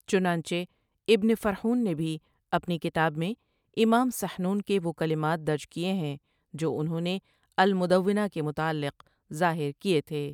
چنانچہ ابنِ فرحون نے بھی اپنی کتاب میں امام سحنون کے وہ کلمات درج کئے ہیں جو انہوں نے المدونہ کے متعلق ظاہر کئے تھے ۔